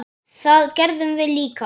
Það gerðum við líka.